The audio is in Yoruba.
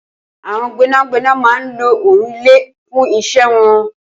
Awọn gbẹnágbẹná má n ló òònlẹ fùn iṣẹ̀ wọn